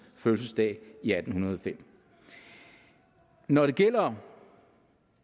fødsel i atten hundrede og fem når det gælder